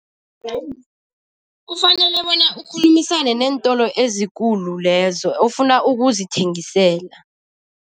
Kufanele bona ukhulumisane neentolo ezikulu lezo, ofuna ukuzithengisela.